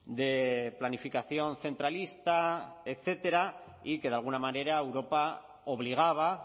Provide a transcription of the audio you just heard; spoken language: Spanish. de planificación centralista etcétera y que de alguna manera europa obligaba